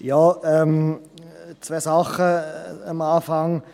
Zwei Dinge gleich zu Beginn.